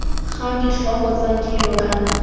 ga ditlhogo tsa dilo kana